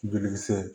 Jolikisɛ